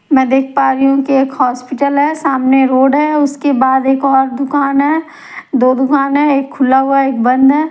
मैं देख पा रही हूँ एक अस्पताल है सामने रोड है उसके बाद एक और दुकान है दो दुकान है एक खुला हुआ है एक बंद है।